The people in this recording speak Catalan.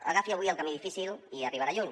agafi avui el camí difícil i arribarà lluny